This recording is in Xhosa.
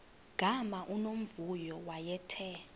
gama unomvuyo wayethe